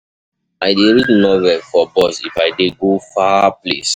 I dey read novel for bus if I dey go far place.